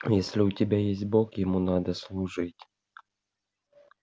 если у тебя есть бог ему надо служить